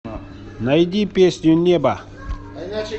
найди песню небо